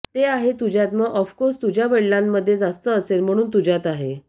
ते आहे तुझ्यात मग ऑफकोर्स तुझ्या वडिलांमध्ये जास्त असेल म्हणून तुझ्यात आहे